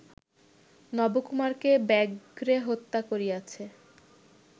নবকুমারকে ব্যাঘ্রে হত্যা করিয়াছে